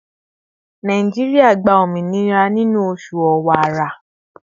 Nàìjíríà gba òmìnira nínú oṣù Ọ̀wàwà